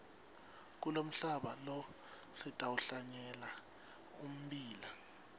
kulomhlaba lo sitawuhlanyela ummbila